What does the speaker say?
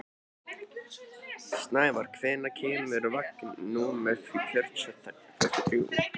Snævarr, hvenær kemur vagn númer fjörutíu og þrjú?